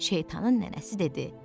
Şeytanın nənəsi dedi: